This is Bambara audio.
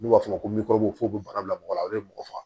N'u b'a f'ɔ ma ko bana bila mɔgɔ la o ye mɔgɔ faga